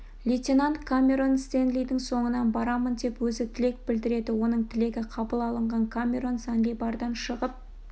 лейтенант камерон стенлидің соңынан барамын деп өзі тілек білдіреді оның тілегі қабыл алынған камерон занлибардан шығып